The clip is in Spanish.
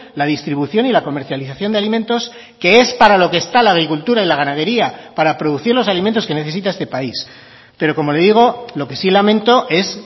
la distribución y la comercialización de alimentos que es para lo que está la agricultura y la ganadería para producir los alimentos que necesita este país pero como le digo lo que sí lamento es